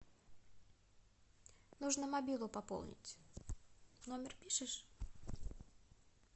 нужно мобилу пополнить номер пишешь